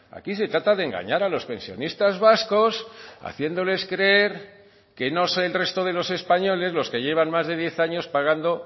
aquí se trata de engañar a los pensionistas vascos haciéndoles creer que no sé el resto de los españoles los que llevan más de diez años pagando